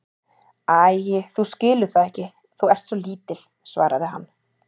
Æi, þú skilur það ekki, þú ert svo lítil, svaraði hann.